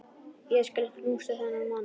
Ég skal knúsa þennan mann!